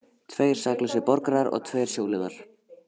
Tveir saklausir borgarar og tveir sjóliðar